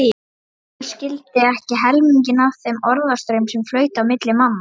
Thomas skildi ekki helminginn af þeim orðastraum sem flaut á milli manna.